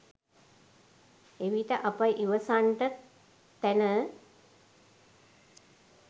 එවිට අප ඉවසන්ට තැන